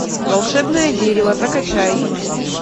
волшебное дерево закачай